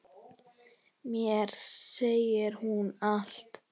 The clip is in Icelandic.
Mér segir hún allt: